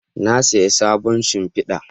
Na saya sabon shimfida